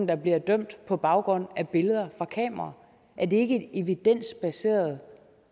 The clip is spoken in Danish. der bliver dømt på baggrund af billeder fra kameraer er det ikke et evidensbaseret